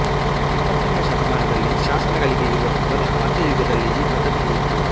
ಇಪ್ಪತ್ತನೆಯ ಶತಮಾನದಲ್ಲಿ ಶಾಸನಗಳಿಗೆ ಇರುವಷ್ಟು ಬಲ ಮಧ್ಯಯುಗದಲ್ಲಿ ಈ ಪದ್ಧತಿಗೆ ಇತ್ತು